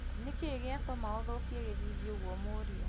Nĩkĩĩ gĩatũma ũthũkie gĩthithi ũguo mu̅uriũ